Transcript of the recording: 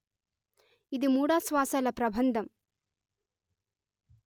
ఇది మూడాశ్వాసాల ప్రబంధం